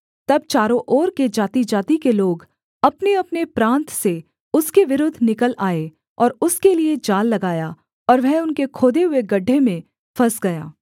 तब चारों ओर के जातिजाति के लोग अपनेअपने प्रान्त से उसके विरुद्ध निकल आए और उसके लिये जाल लगाया और वह उनके खोदे हुए गड्ढे में फँस गया